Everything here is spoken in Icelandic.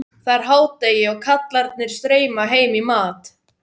Það er hádegi og kallarnir streyma heim í mat.